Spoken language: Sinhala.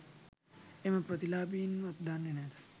එම ප්‍රතිලාභීන්වත් දන්නේ නැත